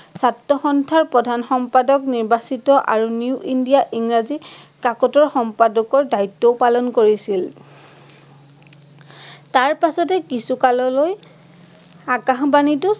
ছাত্ৰসন্থাৰ প্ৰধান সম্পাদক নিৰ্বাচিত আৰু নিউ ইন্দিয়া ইংৰাজী কাকতৰ সম্পাদকৰ দায়িত্বও পালন কৰিছিল। তাৰপাছতে কিছু কাললৈ আকাশবাণীতো